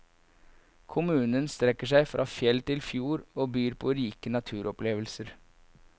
Kommunen strekker seg fra fjell til fjord og byr på rike naturopplevelser.